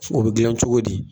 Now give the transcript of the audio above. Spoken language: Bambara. So o be gilan cogo di